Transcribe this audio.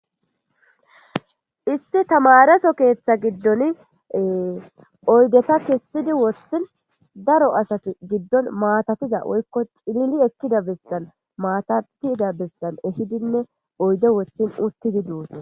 issi tamareso keeththa giddon oydeta kessidi wothin daro asati giddon maatatiza woykko cilili ekkida bessan maatatida bessan ehidinne oyde wothin uttidi dossona